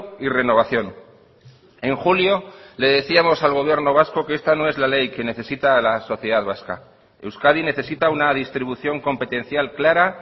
y renovación en julio le decíamos al gobierno vasco que esta no es la ley que necesita la sociedad vasca euskadi necesita una distribución competencial clara